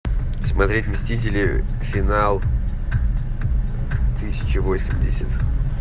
смотреть мстители финал тысяча восемьдесят